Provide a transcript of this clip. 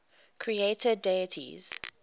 creator deities